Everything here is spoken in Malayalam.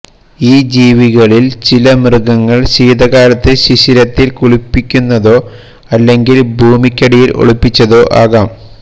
ഈ ജീവികളിൽ ചില മൃഗങ്ങൾ ശീതകാലത്ത് ശിശിരത്തിൽ കുളിപ്പിക്കുന്നതോ അല്ലെങ്കിൽ ഭൂമിക്കടിയിൽ ഒളിപ്പിച്ചതോ ആകാം